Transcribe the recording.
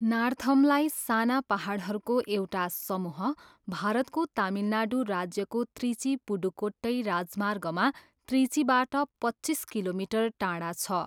नार्थमलाई, साना पाहाडहरूको एउटा समूह, भारतको तमिलनाडु राज्यको त्रिची पुडुकोट्टई राजमार्गमा त्रिचीबाट पच्चिस किलोमिटर टाढा छ।